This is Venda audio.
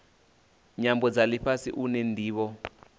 nyambo dza lifhasi une ndivho